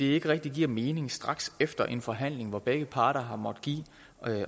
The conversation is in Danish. ikke rigtig det giver mening straks efter sådan en forhandling hvor begge parter har måttet give